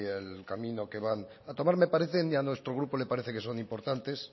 el camino van a tomar me parece y a nuestro grupo le parecen que son importantes